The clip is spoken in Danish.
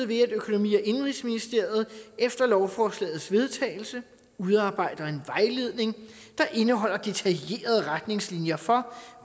ved at økonomi og indenrigsministeriet efter lovforslagets vedtagelse udarbejder en vejledning der indeholder detaljerede retningslinjer for